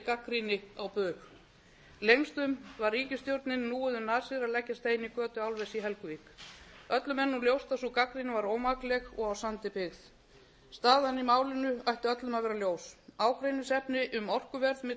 á bug lengstum var ríkisstjórninni núið um nasir að leggja stein í götu álvers í helguvík öllum er nú ljóst að sú gagnrýni var ómakleg og á sandi byggð staðan í málinu ætti öllum að vera ljós ágreiningsefni um orkuverð milli